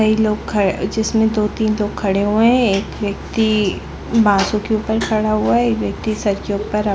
ये लोह जिसमे एक दो खड़े है एक व्यक्ति बाजू के ऊपर खड़ा हुआ है एक व्यक्ति सर के ऊपर--